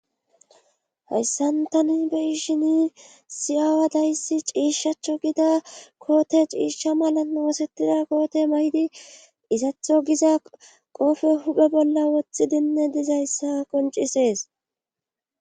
hayssan tani beishini issi aawa dayssi ciishshaachcho gida koote ciishsha malan oosettida koote may7di izatho giza qoofe huphe bolla woththi dinne dizayssa qoncisees